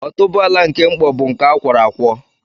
Otúboala nke mkpọ bụ nke a kwọrọ akwọ